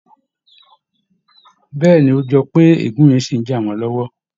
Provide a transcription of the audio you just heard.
Bẹ́ẹ̀ ni, ó jọ pé ègún yẹn ṣì ń jà wọ́n lọ́wọ́